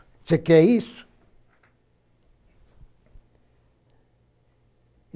Você quer isso?